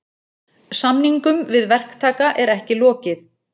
Samningum við verktaka er ekki lokið